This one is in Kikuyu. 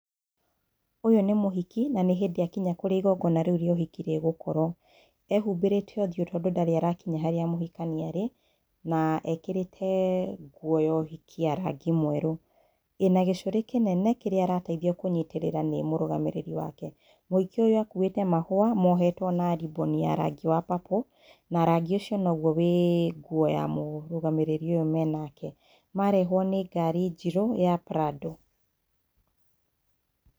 Ũyũ nĩ mũhiki na nĩ hĩndĩ akinya kũrĩa igongona rĩu rĩa ũhiki rĩgũkorwo. Ehũmbĩrĩte ũthiũ tondũ ndari arakinya harĩa mũhikania arĩ na ekĩrĩte nguo ya ũhiki ya rangi mwerũ, ĩna gĩcũrĩ kĩnene kĩrĩa arateithio kũnyitĩrĩra nĩ mũrũgamĩrĩri wake. Mũhiki ũyũ akuĩte mahũa mohetwo na ribbon ya rangi wa purple na rangi ũcio noguo wĩ nguo ya mũrũgamĩrĩri ũyũ mena nake, marehwo nĩ ngari njirũ ya PRADO